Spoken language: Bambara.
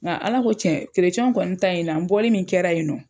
Ŋa Ala ko tiɲɛ w kɔni ta in na n bɔli min kɛra yen nɔ